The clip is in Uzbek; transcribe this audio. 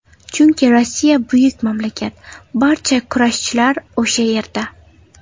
Chunki Rossiya buyuk mamlakat, barcha kurashchilar o‘sha yerda.